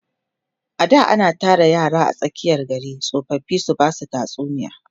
a da ana Tara yara a tsakiyan gari tsofaffi su Basu tatsuniya